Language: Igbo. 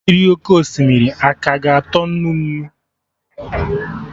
Mmiri oké osimiri a ka ga-atọ nnu nnu?